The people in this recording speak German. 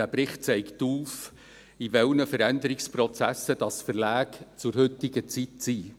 Dieser Bericht zeigt auf, in welchen Veränderungsprozessen Verlage in der heutigen Zeit sind.